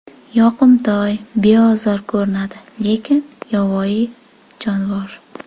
Yoqimtoy, beozor ko‘rinadi, lekin yovvoyi jonivor.